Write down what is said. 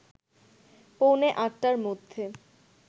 পৌনে ৮টার মধ্যে